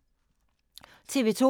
TV 2